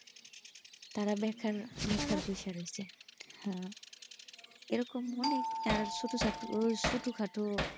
তারা দেখান দেখার বিচার রয়েছে হা এরকম অনেক আর ছোটোসাটু ছোটোখাটো,